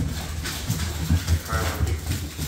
антон михайлович